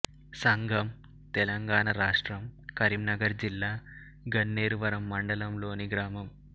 సంగం తెలంగాణ రాష్ట్రం కరీంనగర్ జిల్లా గన్నేరువరం మండలంలోని గ్రామం